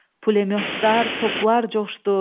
Pulemyotlar, toplar coşdu.